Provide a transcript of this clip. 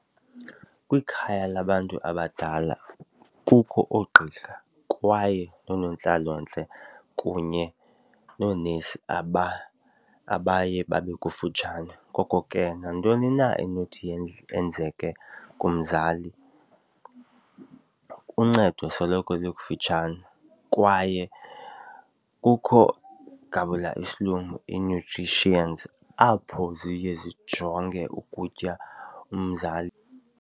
Kwikhaya labantu abadala kukho oogqirha kwaye noonontlalontle kunye noonesi abaye babe kufutshane, ngoko ke nantoni na enothi yenzeke kumzali uncedo soloko likufutshane kwaye kukho, ngabula silungu apho ziye zijonge ukutya umzali.